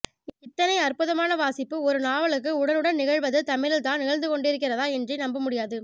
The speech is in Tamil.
இத்தனை அற்புதமான வாசிப்பு ஒரு நாவலுக்கு உடனுடன் நிகழ்வது தமிழில்தான் நிகழ்ந்துகொண்டிருக்கிறதா என்றே நம்பமுடியாது